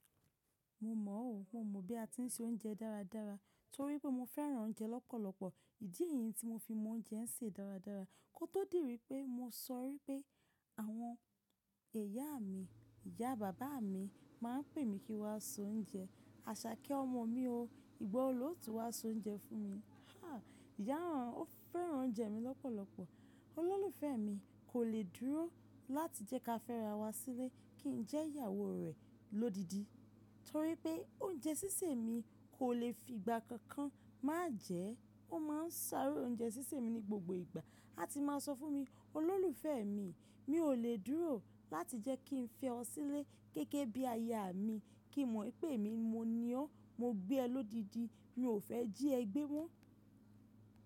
Mo mọ̀ ó, mo mọ̀ bí a ti ń se oúnjẹ dáradára torí pé mo fẹ́ràn oúnjẹ lọ́pọ̀lọpọ̀. Èyí ni tí mo fi mú oúnjẹ ń ṣe dáradára kó tó di wípẹ́ mo sọ wípẹ́ àwọn ìyá mi, ìyá bàbá mi máa ń pè mi kí n wá soúnjẹ. Àṣàkẹ́ ọmọ mi o, ìgbà wo lo ti wá soúnjẹ fún mi? Há! Ìyá rán, ó fẹ́ràn oúnjẹ mi lọ́pọ̀lọpọ̀. Olólùfẹ́ mi kò lè dúró láti jẹ́ ká fẹ́ra wa sílé kí n jẹ́ ìyàwó rẹ̀ lódidi torí pé oúnjẹ sísè mi kò lè fi ìgbà kankan má jẹ ẹ́. Ó máa ń sáré oúnjẹ sísè mi ní gbogbo ìgbà, á ti máa sọ fún mi, “Olólùfẹ́ mi, mi ò lè dúró láti jẹ́ kí n fẹ́ ọ sílé gẹ́gẹ́ bí aya mi kí n mọ̀ wípé èmi mo ni ọ́n. Mo gbé ẹ lódidi, mi ò fẹ́ jí ẹ gbé wọ́n.”